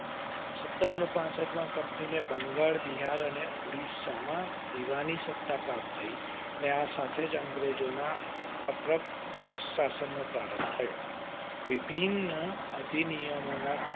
સતરસો પાંસઠ માં કંપની ને બંગાળ, બિહાર અને ઓડીશા માં દીવાની સત્તા પ્રાપ્ત થઇ અને આ સાથે જ અઅંગ્રેજોના અપ્રત્યક્ષ શાસન નો પ્રારંભ થયો. વિભિન્ન અધિનિયમ